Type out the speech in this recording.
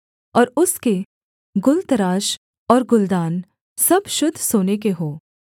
और उसके गुलतराश और गुलदान सब शुद्ध सोने के हों